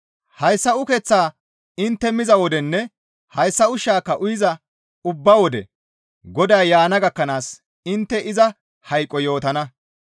Hayssa ukeththaa intte miza wodenne hayssa ushshaaka uyiza ubba wode Goday yaana gakkanaas intte iza hayqo yootana.